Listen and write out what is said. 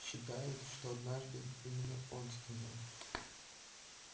считают что однажды именно он сказал